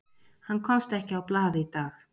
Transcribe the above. Hann komst ekki á blað í dag.